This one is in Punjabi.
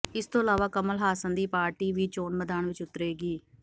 ਇਸ ਤੋਂ ਇਲਾਵਾ ਕਮਲ ਹਾਸਨ ਦੀ ਪਾਰਟੀ ਵੀ ਚੋਣ ਮੈਦਾਨ ਵਿਚ ਉਤਰੇਗੀ